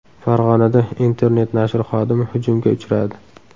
Farg‘onada internet-nashr xodimi hujumga uchradi.